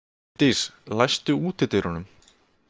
Steindís, læstu útidyrunum.